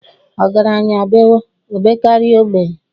Ọgaranya bewe, o bekarịa ogbenye.